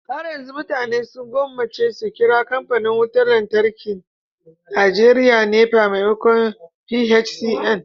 har yanzu mutane sun gwammace su kira kamfanin wutar lantarkin Najeriya NEPA maimakon PHCN